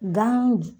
Gan